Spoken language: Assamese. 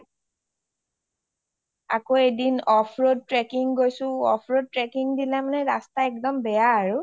আৰু এদিন off road trekking গৈছো, off road trekking দিনা মানে ৰাস্তা একদম বেয়া আৰু